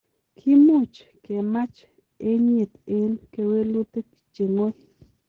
Kimuch kemach enyet en kewelutik cheng'oi.